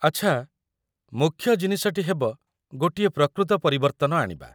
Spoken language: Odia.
ଆଚ୍ଛା, ମୁଖ୍ୟ ଜିନିଷଟି ହେବ ଗୋଟିଏ ପ୍ରକୃତ ପରିବର୍ତ୍ତନ ଆଣିବା ।